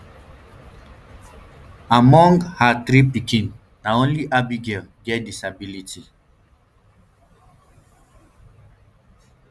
among um her three pickins na only abigail get disability